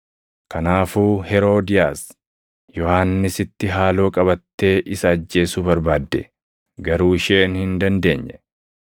Kanaafuu Heroodiyaas Yohannisitti haaloo qabattee isa ajjeesuu barbaadde. Garuu isheen hin dandeenye;